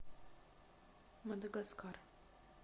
мадагаскар